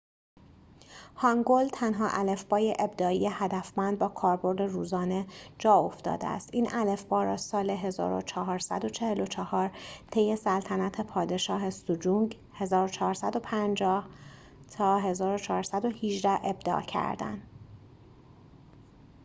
هانگول تنها الفبای ابداعی هدفمند با کاربرد روزانه جاافتاده است. این الفبا را سال 1444 طی سلطنت پادشاه سجونگ 1418 - 1450 ابداع کردند